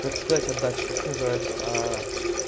так сказать отдача как называется аа